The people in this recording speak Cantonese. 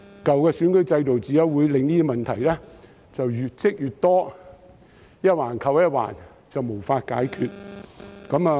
舊的選舉制度只會令這些問題越積越多，一環扣一環，無法解決。